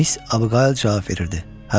Miss Abağayl cavab verirdi.